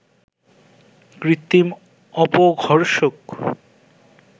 কৃত্রিম অপঘর্ষক